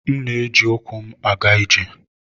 M na-eji ụkwụ m aga ije.